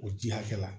O ji hakɛya la